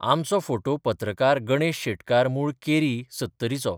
आमचो फोटो पत्रकार गणेश शेटकार मूळ केरी, सत्तरीचो.